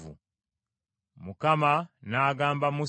Mukama n’agamba Musa nti,